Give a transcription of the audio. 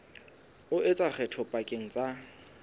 o etsa kgetho pakeng tsa